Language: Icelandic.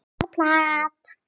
Bara plat.